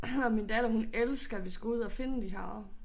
Og min datter hun elsker vi skal ud at finde de her